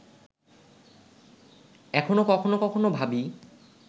এখনো কখনো কখনো ভাবি